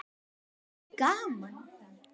Og er gaman?